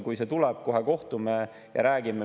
Kui see tuleb, siis kohe kohtume ja räägime.